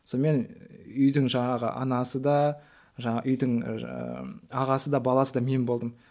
сонымен үйдің жаңағы анасы да жаңа үйдің ағасы да баласы да мен болдым